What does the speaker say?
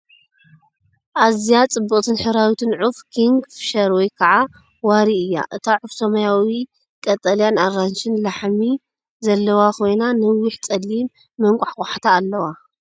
ኣዝያ ጽብቕትን ሕብራዊትን ዑፍ ኪንግፊሸር ወይ ከዓ ወሪ እያ! እታ ዑፍ ሰማያዊ፡ ቀጠልያን ኣራንሺን ላሕሚ ዘለዋ ኮይና፡ ነዊሕ ጸሊም መንቋሕቋሕታ ኣለዋ።